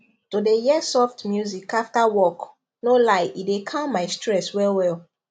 to dey hear soft music after work no lie e dey calm my stress well well